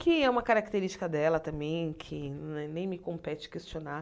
Que é uma característica dela também, que né nem me compete questionar.